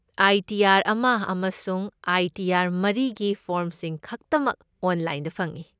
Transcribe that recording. ꯑꯥꯏ. T. R. ꯑꯃ ꯑꯃꯁꯨꯡ I. T. ꯑꯥꯔ.ꯃꯔꯤꯒꯤ ꯐꯣꯔꯝꯁꯤꯡ ꯈꯛꯇꯃꯛ ꯑꯣꯟꯂꯥꯏꯟꯗ ꯐꯪꯢ꯫